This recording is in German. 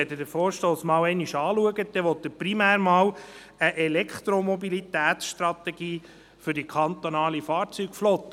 Wenn Sie den Vorstoss betrachten, will dieser primär eine Elektromobilitätsstrategie für die kantonale Fahrzeugflotte.